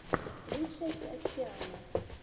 лучшая часть тиана